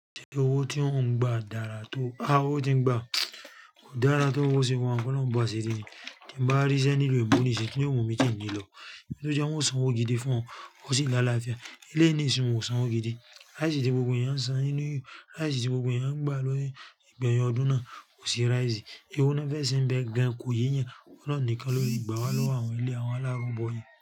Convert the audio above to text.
Ṣé owó tí o ń gba dára tó, a, owó tí ń gba kò dára tó bo ṣe wa hun, kọ́ ló ń bo asiri ni. Tin bá ríṣẹ́ nílu eebo ni sìn yi kí ni ó mu mí ti ní lọ. Jẹ́ wọ́n san owó gidi fún ọ, ó sì lá afiá. Eleyii ni ìsin won ò san owó gidi. Rice ti gbogbo ẹ̀yàn ń san inú, láìsí ti gbogbo ẹ̀yàn ń gba lórí, ìgbẹ̀yìn ọdún náà kò sì rise. Eewo lo fẹ́ se n be gan kò yé eyan, Olorun nìkan lóle gbà wá lọ́wọ́ àwọn eleyii àwọn alárùn bọ̀ yii.